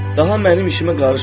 Daha mənim işimə qarışmadılar.